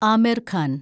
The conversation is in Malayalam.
ആമിർ ഖാൻ